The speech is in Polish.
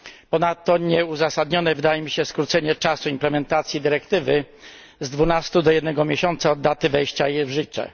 Ponadto nieuzasadnione wydaje mi się skrócenie czasu implementacji dyrektywy z dwunastu do jednego miesiąca od daty jej wejścia w życie.